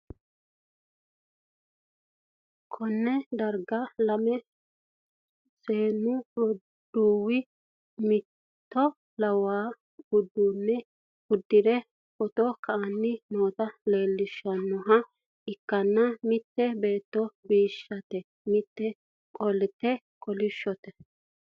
konne darga lame seennu roduuwi mimmito lawanno uduunne uddi're footo ka'anni noota leellishshannoha ikkanna, mitte beetto bishshate mitte qolte kolishshote.